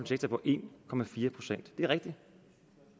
sektor på en procent det er rigtigt